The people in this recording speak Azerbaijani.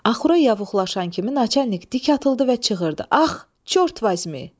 Axura yavuxlaşan kimi Naçalnik dik atıldı və çığırdı: Ax, çort vazimi!